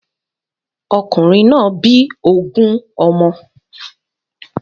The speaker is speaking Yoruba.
Okùnrin náà bí ogun ọmọ.